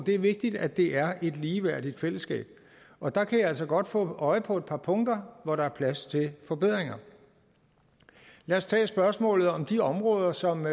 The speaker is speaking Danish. det vigtigt at det er et ligeværdigt fællesskab og der kan jeg altså godt få øje på et par punkter hvor der er plads til forbedring lad os tage spørgsmålet om de områder som